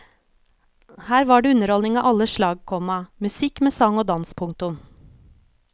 Her var det underholdning av alle slag, komma musikk med sang og dans. punktum